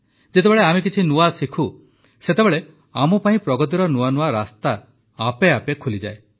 ଯେତେବେଳେ ଆମେ କିଛି ନୂଆ ଶିଖୁ ସେତେବେଳେ ଆମ ପାଇଁ ପ୍ରଗତିର ନୂଆ ନୂଆ ରାସ୍ତା ଆପେଆପେ ଖୋଲିଯାଏ